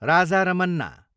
Raja Ramanna